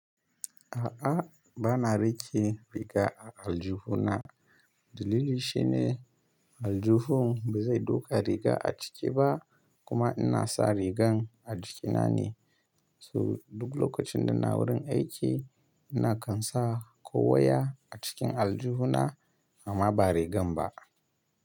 A'a, ba na riƙe riga a aljihuna. Dalili shi ne aljihun bai zai ɗauka riga a ciki ba kuma ina sa rigan a jikina ne. So duk lokacin da ina wurin aiki ina kan sa ko waya a cikin aljihuna amma ba rigan ba.